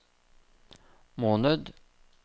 måned